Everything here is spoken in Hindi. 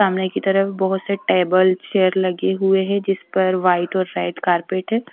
सामने के तरफ बहोत से टेबल चेयर लगे हुए है जिस पर वाइट और रेड कारपेट है।